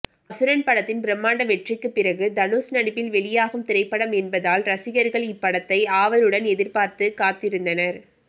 அசுரன் படத்தின் பிரம்மாண்ட வெற்றிக்கு பிறகு தனுஷ் நடிப்பில் வெளியாகும் திரைப்படம் என்பதால் ரசிகர்கள் இப்படத்தை ஆவலுடன் எதிர்பார்த்து காத்திருந்தனர்